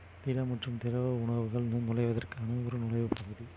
திட மற்றும் திரவ உணவுகள்